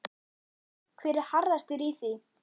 Hver er harðastur í því?